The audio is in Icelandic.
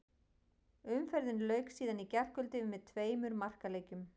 Umferðinni lauk síðan í gærkvöldi með tveimur markaleikjum.